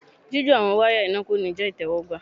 jijo àwọn waya iná ko ní jẹ itẹwọgbà